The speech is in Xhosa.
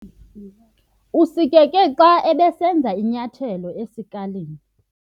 Usikeke xa ebesenza inyathelo esikalini.